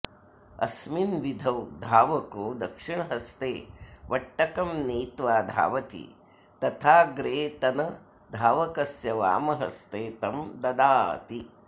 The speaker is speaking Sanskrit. अस्मिन् विधौ धावको दक्षिणहस्ते वट्टकं नीत्वा धावति तथाऽग्रेतनधावकस्य वामह्स्ते तं ददाति